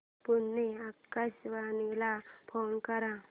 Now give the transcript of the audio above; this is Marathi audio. पुणे आकाशवाणीला फोन कर